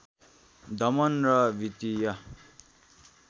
दमन र वित्तीय